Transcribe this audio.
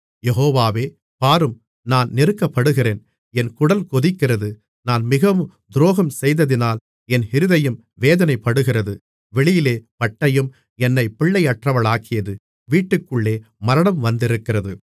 யெகோவாவே பாரும் நான் நெருக்கப்படுகிறேன் என் குடல் கொதிக்கிறது நான் மிகவும் துரோகம் செய்ததினால் என் இருதயம் வேதனைப்படுகிறது வெளியிலே பட்டயம் என்னைப் பிள்ளையற்றவளாக்கியது வீட்டுக்குள்ளே மரணம் வந்திருக்கிறது